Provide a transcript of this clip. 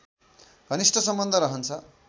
घनिष्ठ सम्बन्ध रहन्छ